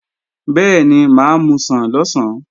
Bẹ́ẹ̀ni, mà á musàn lọ̀sán